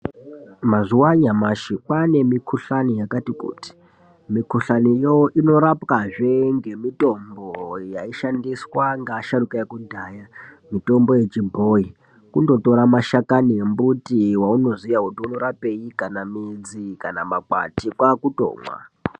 Mazuwa anyamashi kwaane mikuhlani yakati kuti mikuhlaniyo inorapwazve ngemitombo yaishandiswa ngeasharuka ekudhaya mitombo yechibhoyi kundotora mashakani embiti waunoziya kuti anorapei kana midzi kana makwati kwakutomwa.